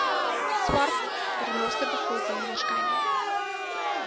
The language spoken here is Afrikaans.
swart renosterbevolking waarskynlik